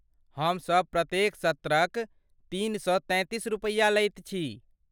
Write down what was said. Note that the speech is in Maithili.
हमसब प्रत्येक सत्रक तीन सए तैंतीस रुपैया लैत छी।